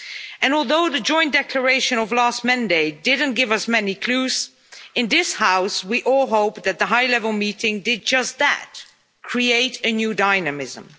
And although the joint declaration of last Monday didn't give us many clues, in this House we all hope that the high level meeting did just that create a new dynamism.